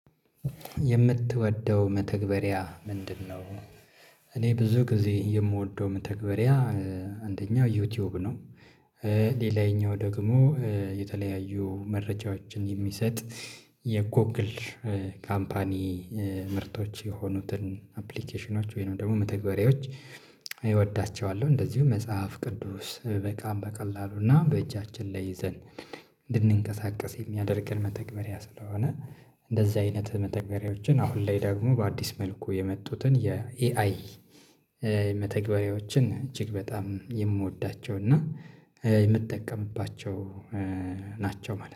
የምትወደው መተግበሪያ ምንድነው? እኔ ብዙ ጊዜ የምወደው መተግበሪያ አንደኛው ዩቲዩብ ነው ሌላኛው ደግሞ የተለያዩ መረጃዎችን የሚሰጥ የጎግል ካምፓኒ ምርቶች የሆኑትን አፕሊኬሽኖች ወይንም ደግሞ መተግበሪያዎች እወዳቸዋለሁ እንደዚሁም መጽሐፍ ቅዱስ በቃ በቀላሉና በእጃችን ላይ ይዘን እንድንንቀሳቀስ የሚያደርገን መተግበሪያ ስለሆነ እንደዛ አይነት መተግበሪያዎችን አሁን ላይ ደግሞ በአዲስ መልኩ የመጡትን የኤአይ መተግበሪያዎችን እጅግ በጣም የምወዳቸው እና የምጠቀምባቸው ናቸው ማለት ነው